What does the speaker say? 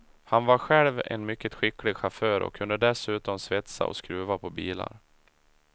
Han var själv en mycket skicklig chaufför och kunde dessutom svetsa och skruva på bilar.